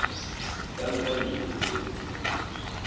di ka nka dibeke tse